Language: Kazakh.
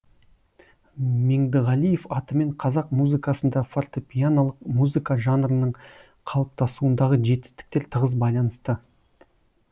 меңдіғалиев атымен қазақ музыкасында фортепианолық музыка жанрының қалыптасуындағы жетістіктер тығыз байланысты